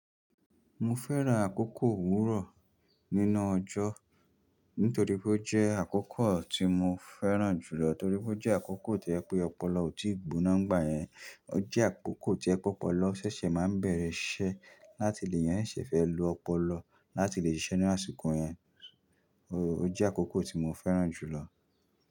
Mo fẹ́ran àkókò òwúrọ̀ nínú ọjọ́ nítorí pé ó jẹ́ àkókò tí mo fẹ́ràn jùlọ torí pé ó jẹ́ àkókò tí jẹ pé ọpọlọ ò tíì gbóná ńgbà yẹn. Ó jẹ́ àkókò tí o jẹ pe ọpọlọ ṣẹ̀ṣẹ̀ máa n bẹ̀rẹ̀ iṣẹ́ láti lè yàn eeyan ṣese fẹ́ lo ọpọlọ láti lè ṣiṣẹ́ ní àsìkò yẹn. Oóó ó jẹ́ àkókò tí mo fẹ́ràn jùlọ.